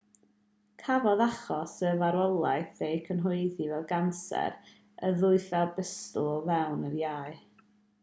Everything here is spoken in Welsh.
cafodd achos y farwolaeth ei gyhoeddi fel canser y ddwythell bustl o fewn yr iau